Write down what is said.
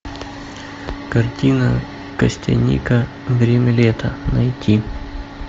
картина костяника время лета найти